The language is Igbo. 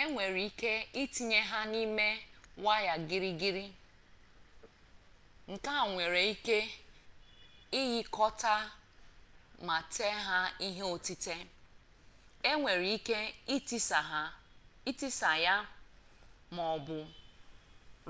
enwere ike itinye ya n'ime waya girigiri nke e nwere ike ịghịkọta ma tee ya ihe otite enwere ike itisa ya ma ọ bụ